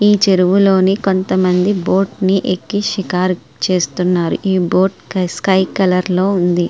ఈ చెరువులోని కొంతమంది బోటినీ ఎక్కి షికారు చేస్తున్నారు ఈ బోటు స్కై బ్లూ కలర్ లో ఉంది.